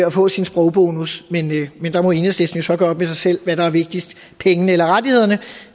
at få sin sprogbonus der må enhedslisten så gøre op med sig selv hvad der er vigtigst pengene eller rettighederne